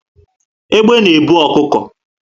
Egbe na ebu ọkụkọ